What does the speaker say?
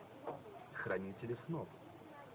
хранители снов